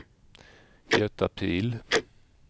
Göta Pihl